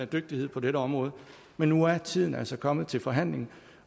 dygtighed på dette område men nu er tiden altså kommet til forhandling